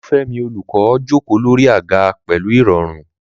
Olufemi, the teacher, comfortably sat on a chair.